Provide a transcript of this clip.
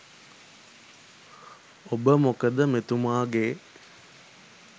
ඔබ මොකද මෙතුමාගේ